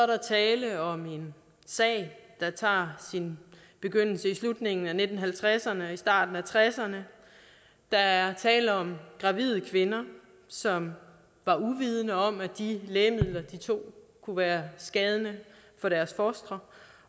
der tale om en sag der tager sin begyndelse i slutningen af nitten halvtredserne og i starten af nitten tresserne der er tale om gravide kvinder som var uvidende om at de lægemidler de tog kunne være skade for deres fostre